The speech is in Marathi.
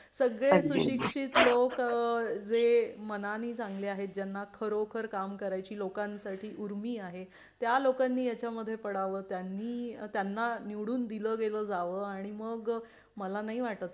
सगळे सुशिक्षित लोक जे मनाने चांगले आहेत ज्यांना खरोखर काम करायची लोकांसाठी उर्मी आहे त्या लोकांनी याच्या मध्ये पडाव त्या नी त्यांना निवडून दिलं गेलं जावं आणि मग मला नाही वाटत